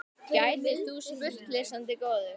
gætir þú spurt, lesandi góður.